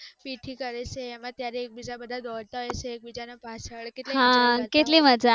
પીઠી કરે છે ત્યારે એકબીજા દોડતા હશે એકબીજા પાછળ